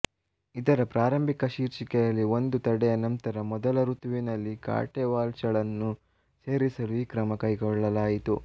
ಇದರ ಪ್ರಾರಂಭಿಕ ಶೀರ್ಷಿಕೆಯಲ್ಲಿ ಒಂದು ತಡೆಯ ನಂತರ ಮೊದಲ ಋತುವಿನಲ್ಲಿ ಕಾಟೆ ವಾಲ್ಶ್ ಳನ್ನು ಸೇರಿಸಲು ಈ ಕ್ರಮ ಕೈಗೊಳ್ಳಲಾಯಿತು